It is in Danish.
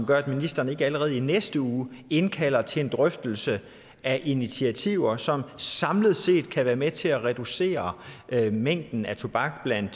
gør at ministeren ikke allerede i næste uge indkalder til en drøftelse af initiativer som samlet set kan være med til at reducere mængden af tobak blandt